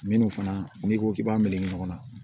Minnu fana n'i ko k'i b'a melege ɲɔgɔn na